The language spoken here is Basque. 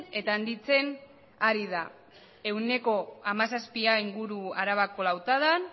eta handitzen ari da ehuneko hamazazpia inguru arabako lautadan